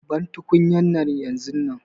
Ban tukunyar nan yanzun nan!